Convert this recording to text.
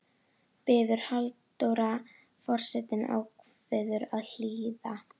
biður Halldóra og forsetinn ákveður að hlýða.